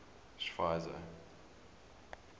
schweizer